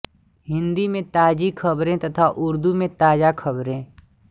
हिन्दी में ताज़ी ख़बरें तथा उर्दू में ताज़ा ख़बरें